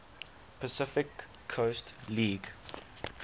pacific coast league